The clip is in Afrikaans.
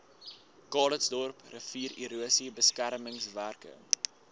calitzdorp riviererosie beskermingswerke